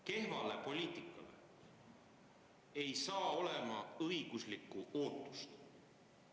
Kehvale poliitikale ei saa olla õiguslikku ootust.